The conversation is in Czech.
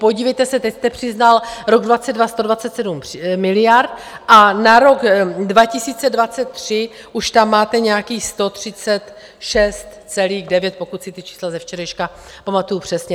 Podívejte se, teď jste přiznal rok 2022 127 miliard a na rok 2023 už tam máte nějakých 136,9, pokud si ta čísla ze včerejška pamatuju přesně.